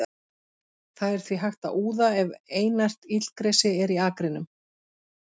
Það er því hægt að úða ef einært illgresi er í akrinum.